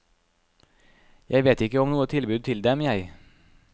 Jeg vet ikke om noe tilbud til dem, jeg.